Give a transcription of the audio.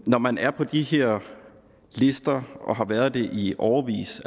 når man er på de her lister og har været det i årevis